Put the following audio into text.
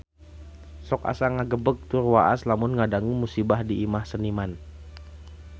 Sok asa ngagebeg tur waas lamun ngadangu musibah di Imah Seniman